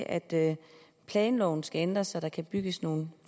at planloven skal ændres så der kan bygges nogle